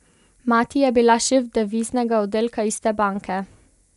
Mati je bila šef deviznega oddelka iste banke.